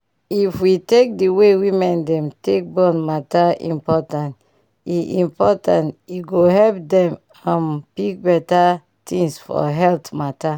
if we take d way women dem take born matter important e important e go help dem um pick beta tins for health matter